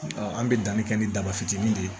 an bɛ danni kɛ ni daba fitinin de ye